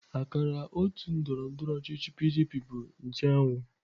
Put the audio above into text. Akara otu ndọrọndọrọ ọchịchị PDP bụ nche anwụ.